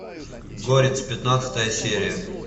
горец пятнадцатая серия